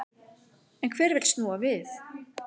En hver vill snúa við?